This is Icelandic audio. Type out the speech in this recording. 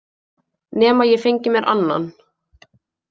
Nema ég fengi mér annan.